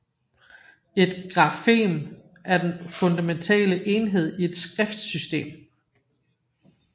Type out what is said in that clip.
Et grafem er den fundamentale enhed i et skriftsystem